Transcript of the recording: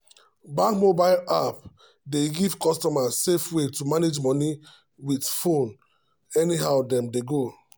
bank mobile app dey give customer safe way to manage money with phone any how them dey go.